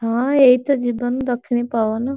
ହଁ ଏଇତ ଜୀବନ, ଦକ୍ଷିଣୀ ପବନ।